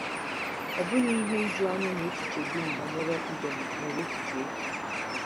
Ọ bụghị ihe ijuanya na echiche dum banyere Iden nwere echiche efu.